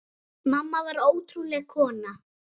Mamma var ótrúleg kona.